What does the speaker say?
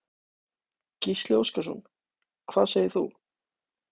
Gísli Óskarsson: Hvað segir þú?